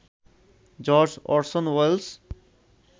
George Orson Wales